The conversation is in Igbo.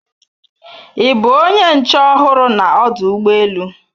Ị bụ onye nche ọhụrụ na ọdụ ụgbọ elu